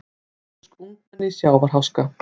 Dönsk ungmenni í sjávarháska